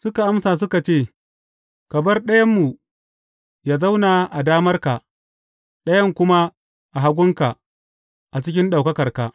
Suka amsa suka ce, Ka bar ɗayanmu yă zauna a damarka, ɗayan kuma a hagunka, a cikin ɗaukakarka.